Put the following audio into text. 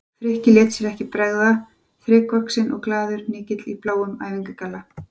Frikki lét sér ekki bregða, þrekvaxinn og glaðlegur hnykill í bláum æfingagalla.